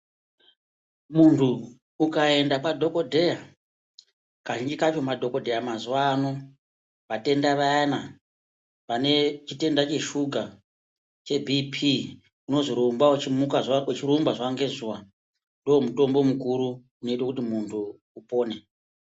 Muntu ukaenda kwa dhokoteya ka zhinji kacho ma dhokoteya mazuva ano vatenda vayana vane chitenda che shuga che bp unonzi rumba uchi muka zuva ne zuva ndo mutombo mukuru unoita kuti muntu upore.